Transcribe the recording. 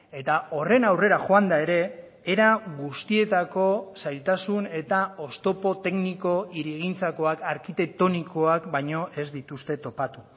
eta horren aurrera joanda ere era guztietako zailtasun eta oztopo tekniko hirigintzakoak arkitektonikoak baino ez dituzte topatu